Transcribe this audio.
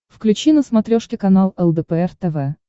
включи на смотрешке канал лдпр тв